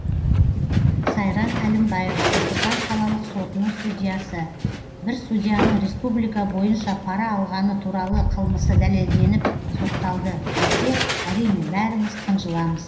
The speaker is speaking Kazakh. сайран әлімбаева нұр сұлтан қалалық сотының судьясы бір судьяның республика бойынша пара алғаны туралы қылмысы дәлелденіп сотталды десе әрине бәріміз қынжыламыз